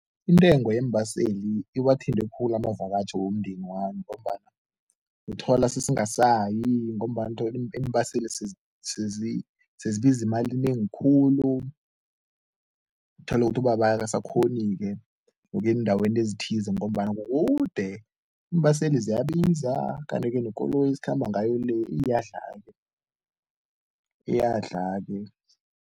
Intengo yembaseli iwathinte khulu amakavatjho womndeni wami ngombana uthola sesingasayi ngombana uthola iimbaseli sezibiza imali enengi khulu, uthole ukuthi ubaba akasakghoni-ke ukuya eendaweni ezithize ngombana kukude, iimbaseli ziyabiza kanti-ke nekoloyi esikhamba ngayo le iyadlala-ke, iyadlala-ke.